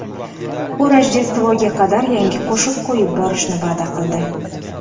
U Rojdestvoga qadar yangi qo‘shiq qo‘yib borishni va’da qildi.